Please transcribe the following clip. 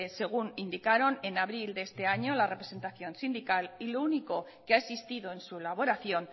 según indicaron en abril de este año la representación sindical y lo único que ha existido en su elaboración